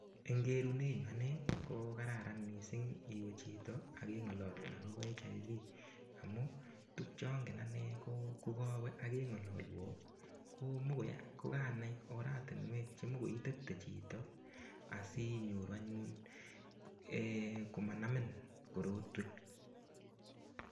Eng' kerunenyu ane ko kararan mising' iwe chito akeng'ololun akobo HIV amun tukcheobgen ane ko kokawe akeng'ololwa komokoi kokanai oratinwek chikoi itepte chito asinyoru anyun komanamin korotwek